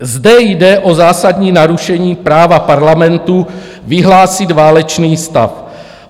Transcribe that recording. Zde jde o zásadní narušení práva Parlamentu vyhlásit válečný stav.